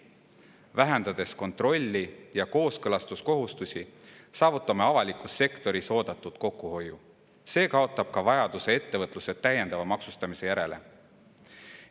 Vähendades kontrolli ja kooskõlastuskohustusi, saavutame avalikus sektoris oodatud kokkuhoiu, see kaotab ka vajaduse ettevõtluse täiendava maksustamise järele.